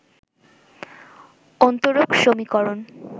অন্তরক সমীকরণ